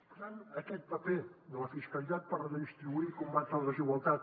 per tant aquest paper de la fiscalitat per redistribuir i combatre la desigualtat